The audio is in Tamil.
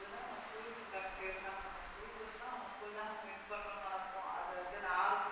எப்போதுமே நம்ம school க்கு உண்டான பேருதானே நம்ம school போச்சுன்னா நம்ம school தான் நம்ம win பண்ணணும்னு நினைப்போம் அது வந்து நான்